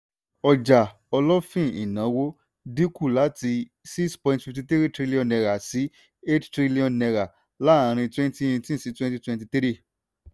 ọjà olófìn-ìnáwó dínkù láti six point fifty three trillion naira sí eight trillion naira láàárín twenty eighteen sí twenty twenty three.